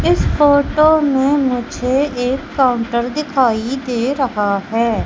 इस फोटो में मुझे एक काउंटर दिखाई दे रहा है।